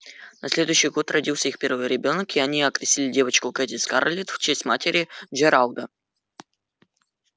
на следующий год родился их первый ребёнок и они окрестили девочку кэти-скарлетт в честь матери джералда